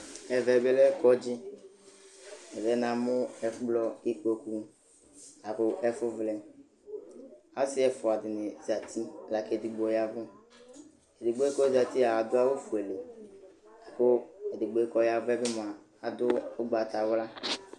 Ɛvɛ bɩ lɛ kɔdzɩ Nɔ bɩ namʋ ɛkplɔ, ikpoku la kʋ ɛfʋvlɛ Asɩ ɛfʋa dɩnɩ zati la kʋ edigbo ya ɛvʋ Edigbo yɛ kʋ ɔzati yɛ a, adʋ awʋfuele la kʋ edigbo yɛ kʋ ɔya ɛvʋ yɛ bɩ mʋa, adʋ ʋgbatawla